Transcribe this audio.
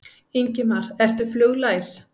Ingimar: Ertu fluglæs?